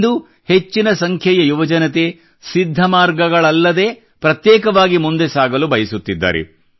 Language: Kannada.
ಇಂದು ಹೆಚ್ಚಿನ ಸಂಖ್ಯೆಯ ಯುವಜನತೆ ಸಿದ್ಧ ಮಾರ್ಗಗಳಲ್ಲದೇ ಪ್ರತ್ಯೇಕವಾಗಿ ಮುಂದೆ ಸಾಗಲು ಬಯಸುತ್ತಿದ್ದಾರೆ